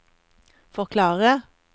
forklare